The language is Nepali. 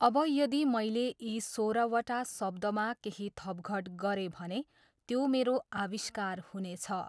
अब यदि मैले यी सोह्रवटा शब्दमा केही थपघट गरेँ भने त्यो मेरो आविष्कार हुनेछ।